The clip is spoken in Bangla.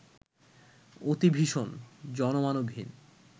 অতি ভীষণ, জনমানবহীন